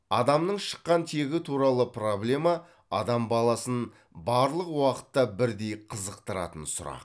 адамның шыққан тегі туралы проблема адам баласын барлық уақытта бірдей қызықтыратын сұрақ